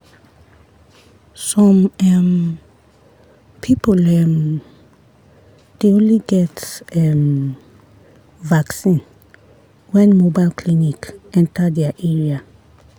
some um people um dey only get um vaccine when mobile clinic enter their area.